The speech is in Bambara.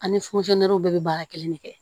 Ani bɛɛ bɛ baara kelen de kɛ